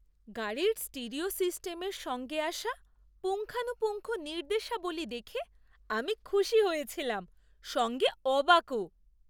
গাড়ির স্টিরিও সিস্টেমের সঙ্গে আসা পুঙ্খানুপুঙ্খ নির্দেশাবলী দেখে আমি খুশি হয়েছিলাম সঙ্গে অবাকও!